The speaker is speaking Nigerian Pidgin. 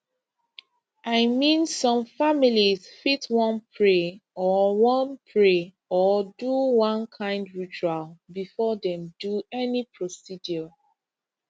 i mean some families fit wan pray or wan pray or do one kind ritual before dem do any procedure